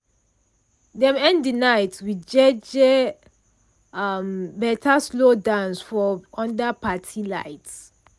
dem end de night with jeje um better slow dance for under parti light